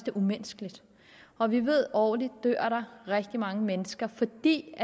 er umenneskeligt og vi ved at der årligt dør rigtig mange mennesker fordi vi